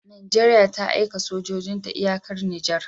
Nigeria ta aika sojojin ta iyakar niger